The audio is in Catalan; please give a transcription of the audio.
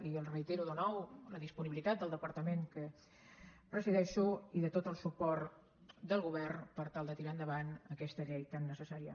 i els reitero de nou la disponibilitat del departament que presideixo i tot el suport del govern per tal de tirar endavant aquesta llei tan necessària